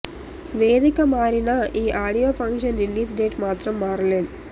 వేదిక మారినా ఈ ఆడియో ఫంక్షన్ రిలీజ్ డేట్ మాత్రం మారలేదు